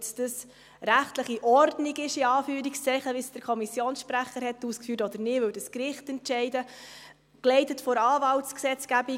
Ob das jetzt rechtlich Ordnung ist, in Anführungszeichen, wie der Kommissionssprecher ausgeführt hat, oder nicht, würde ein Gericht entscheiden, geleitet von der Anwaltsgesetzgebung.